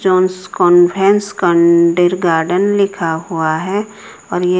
जॉन्सकोन है स्कांडिर गार्डन लिखा हुआ है और ये--